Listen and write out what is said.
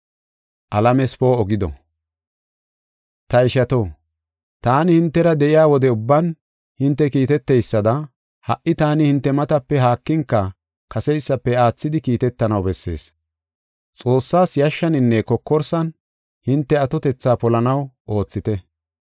Ta ishato, taani hintera de7iya wode ubban hinte kiitetidaysada, ha77i taani hinte matape haakinka, kaseysafe aathidi, kiitetanaw bessees. Xoossaas yashshaninne kokorsan hinte atotetha polanaw oothite.